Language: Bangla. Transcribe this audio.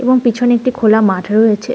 এবং পেছনে একটি খোলা মাঠ রয়েছে।